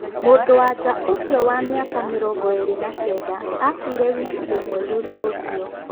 Mũndũ-wa-nja ũcio wa mĩaka mĩrongoĩrĩ na kenda akuire wiki ĩmwe thutha ũcio.